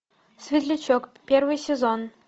светлячок первый сезон